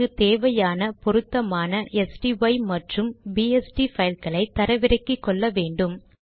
நமக்கு தேவையான பொருத்தமான ஸ்டை மற்றும் பிஎஸ்டி fileகளை தரவிறக்கிக்கொள்ள வேண்டும்